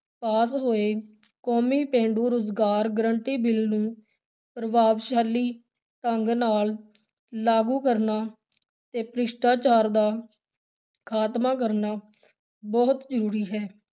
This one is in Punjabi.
ਪਾਸ ਹੋਏ ਕੌਮੀ ਪੇਂਡੂ ਰੁਜ਼ਗਾਰ guarantee ਬਿੱਲ ਨੂੰ ਪ੍ਰਭਾਵਸ਼ਾਲੀ ਢੰਗ ਨਾਲ ਲਾਗੂ ਕਰਨਾ ਤੇ ਭ੍ਰਿਸ਼ਟਾਚਾਰ ਦਾ ਖ਼ਾਤਮਾ ਕਰਨਾ ਬਹੁਤ ਜ਼ਰੂਰੀ ਹੈ।